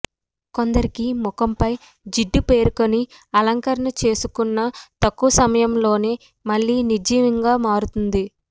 కొందరికి ముఖంపై జిడ్డు పేరుకుని అలంకరణ చేసుకున్న తక్కువ సమయంలోనే మళ్లీ నిర్జీవంగా మారుతుంది